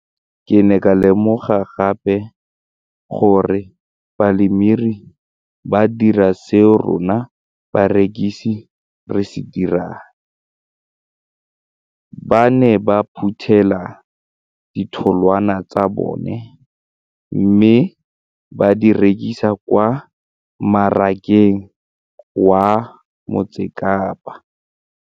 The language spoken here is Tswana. Ke ne ka lemoga gape gore balemirui ba dira seo rona barekisi re se dirang, ba ne ba phuthela ditholwana tsa bona mme ba di rekisa kwa marakeng wa Motsekapa.